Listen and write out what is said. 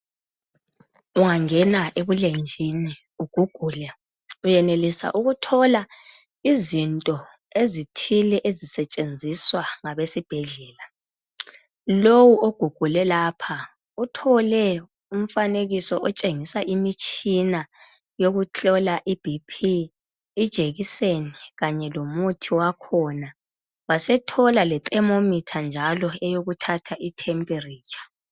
Ungangena ebulenjini ugugule uyenelisa ukuthola izinto ezithile ezisetshenziswa ngabesibhedlela. Lowu ogugule lapha uthole umfanekiso otshengisa imitshina yokuhlola iBP, ijekiseni kanye lomuthi wakhona. Wasethola lethermometer njalo eyokuthatha itemperature.